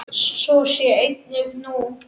Svo sé einnig nú.